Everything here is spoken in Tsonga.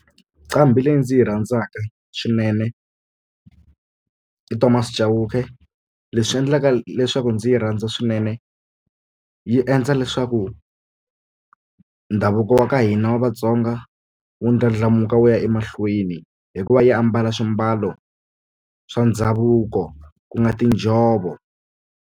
Nqambi leyi ndzi yi rhandzaka swinene i Thomas Chauke leswi endlaka leswaku ndzi yi rhandza swinene yi endla leswaku ndhavuko wa ka hina wa Vatsonga wu ndlandlamuka wu ya emahlweni hikuva yi ambala swimbalo swa ndhavuko ku nga tinjhovo.